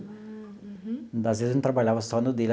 Às vezes, a gente trabalhava só no dele.